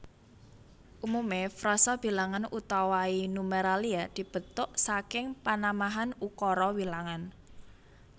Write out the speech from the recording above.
Umume frasa bilangan utawai numeralia dibetuk saking panamahan ukara wilangan